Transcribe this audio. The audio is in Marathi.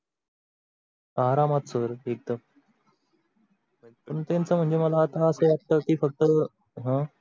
आरामात sir एकदम पण त्यांच त्यांच मला आता अस वाटत की फक्त अह